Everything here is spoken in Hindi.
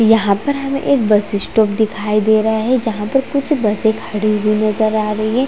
यहाँ पर हमे एक बस स्टॉप दिखाई दे रहा है जहां पर हमे कुछ बसे खड़ी हुई नज़र आ रही है।